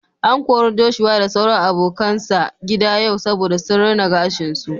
An kori Joshua da sauran abokanan sa gida yau saboda sun rina gashin su.